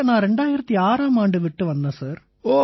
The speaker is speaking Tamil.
நான் 2006ஆம் ஆண்டு பனாரசை விட்டு வந்தேன் சார்